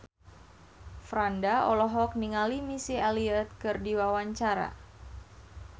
Franda olohok ningali Missy Elliott keur diwawancara